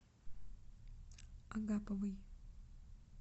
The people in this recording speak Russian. агаповой